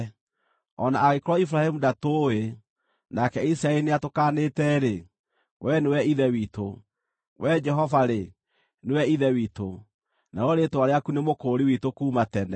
O na angĩkorwo Iburahĩmu ndatũũĩ, nake Isiraeli nĩatũkaanĩte-rĩ, Wee nĩwe Ithe witũ; Wee Jehova-rĩ, nĩwe Ithe witũ, narĩo rĩĩtwa rĩaku nĩ Mũkũũri witũ kuuma tene.